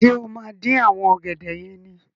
Ṣé o máa dín àwọn ọ̀gẹ̀dẹ̀ yẹn ni?